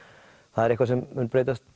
það er eitthvað sem mun breytast